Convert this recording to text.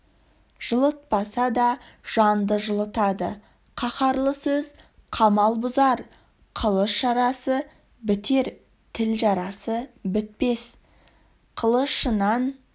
жылытпаса да жанды жылытады қаһарлы сөз қамал бұзар қылыш жарасы бітер тіл жарасы бітпес қылышынан